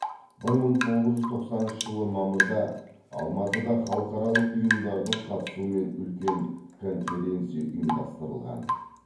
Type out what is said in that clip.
бір мың тоғыз жүз тоқсаныншы жылы мамырда алматыда халықаралық ұйымдардың қатысуымен үлкен конференция ұйымдастырылған